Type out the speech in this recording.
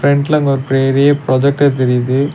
ஃபிரண்ட்ல அங்க ஒரு பெரிய ப்ரொஜெக்டர் தெரியிது.